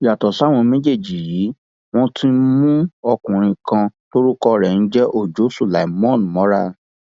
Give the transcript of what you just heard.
yàtọ sáwọn méjèèjì yìí wọn tún mú ọkùnrin kan tórúkọ ẹ ń jẹ ọjọ sulaimon mọra